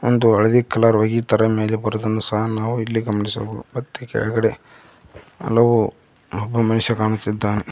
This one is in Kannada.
ಒಂದು ಹಳದಿ ಕಲರ್ ಹೊಗಿ ತರ ಮೇಲೆ ಬರೋದನ್ನ ಸಹ ನಾವು ಇಲ್ಲಿ ಗಮನಿಸಬಹುದು ಮತ್ತೆ ಕೆಳಗಡೆ ಹಲವು ಒಬ್ಬ ಮನುಷ್ಯ ಕಾಣುತ್ತಿದ್ದಾನೆ.